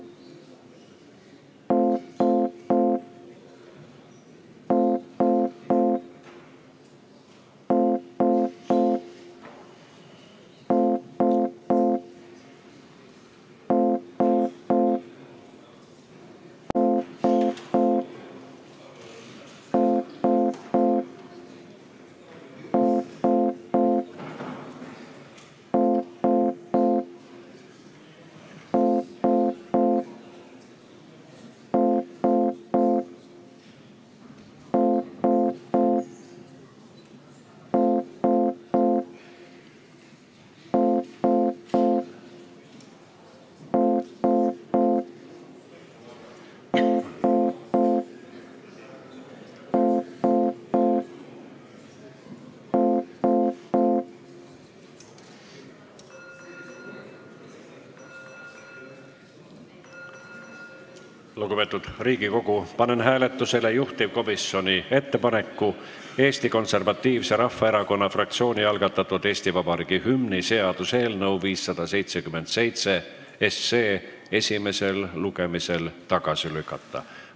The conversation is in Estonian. Lugupeetud Riigikogu, panen hääletusele juhtivkomisjoni ettepaneku Eesti Konservatiivse Rahvaerakonna fraktsiooni algatatud Eesti Vabariigi hümni seaduse eelnõu 577 esimesel lugemisel tagasi lükata.